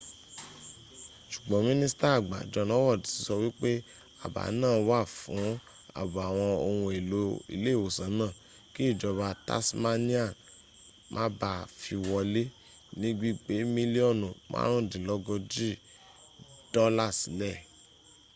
ṣùgbọ́n mínísítà àgbà john howard ti sọ wípé àbá náà wà fún àbò àwọn ohun èlò ilé ìwòsàn náà kí ìjọba tasmanian má ba à fi wọ́lẹ̀ ní gbigbé milíọ́nù márùndínlógójì dọ́là sílẹ̀